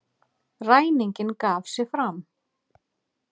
Ræninginn gaf sig fram